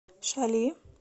шали